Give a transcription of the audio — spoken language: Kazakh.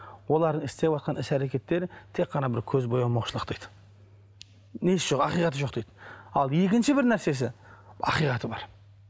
олардың істеватқан іс әрекеттері тек қана бір көзбоямаушылық дейді несі жоқ ақиқаты жоқ дейді ал екінші бір нәрсесі ақиқаты бар